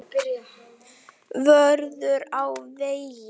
Vörður á vegi.